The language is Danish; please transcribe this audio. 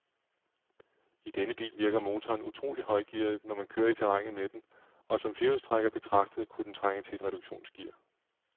I denne bil virker motoren utroligt højgearet, når man kører i terrænet med den, og som firehjulstrækker betragtet kunne den trænge til et reduktionsgear.